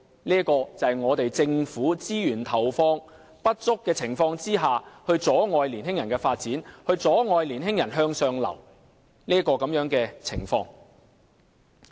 這就是政府在投放資源不足的情況下，阻礙年輕人發展，阻礙年輕人向上流動的情況。